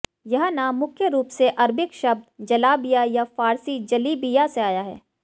यह नाम मुख्य रूप से अरबिक शब्द जलाबिया या फारसी जलिबिया से आया है